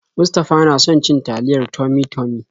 Mustafa na son cin taliyar Tummy-Tummy.